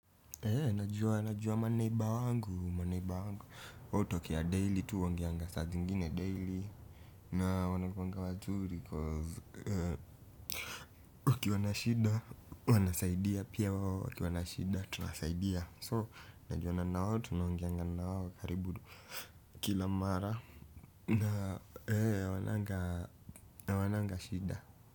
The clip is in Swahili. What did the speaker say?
Najuwa najuwa maneiba wangu maneiba wangu. Wao hutokea daily tu huongeanga saa zingine daily na wanakuanga wazuri cause wakiwa na shida huwa nasaidia pia wao wakiwa na shida tunasaidia. So najuana nawao tunaongeanga na wao karibu kila mara na hawananga shida.